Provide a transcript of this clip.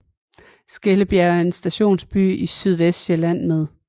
Skellebjerg er en stationsby i Sydvestsjælland med